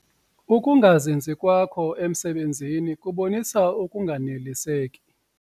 Uukungazinzi kwakho emisebenzini kubonisa ukunganeliseki.